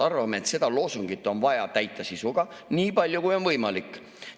Arvame, et seda loosungit on vaja täita sisuga nii palju, kui on võimalik.